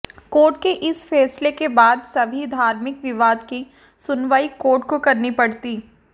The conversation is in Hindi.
कोर्ट के इस फैसले के बाद सभी धार्मिक विवाद की सुनवाई कोर्ट को करनी पड़ती